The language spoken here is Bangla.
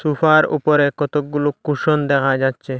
ফার উপরে কতগুলো কুশন দেখা যাচ্ছে।